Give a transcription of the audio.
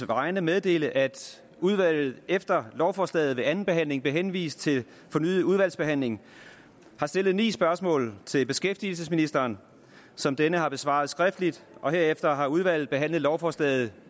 vegne meddele at udvalget efter lovforslaget ved andenbehandlingen blev henvist til fornyet udvalgsbehandling har stillet ni spørgsmål til beskæftigelsesministeren som denne har besvaret skriftligt og herefter har udvalget behandlet lovforslaget